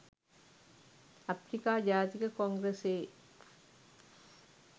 අප්‍රිකා ජාතික කොංග්‍රසයේ